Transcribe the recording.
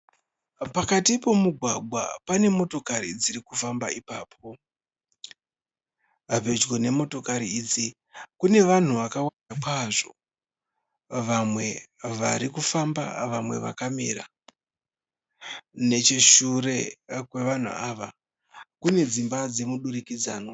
Pakati pomugwagwa pane motokari dzirikufamba ipapo. Pedyo nemotakari idzi kune vanhu vakawanda kwazvo, vamwe varikufamba vamwe vakamira. Necheshure kwevanhu ava kune dzimba dzemudurikidzanwa